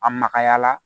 A magaya la